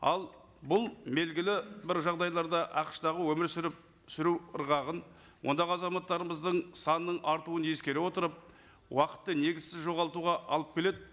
ал бұл белгілі бір жағдайларда ақш тағы өмір сүріп сүру ырғағын ондағы азаматтарымыздың санының артуын ескере отырып уақытты негізсіз жоғалтуға алып келеді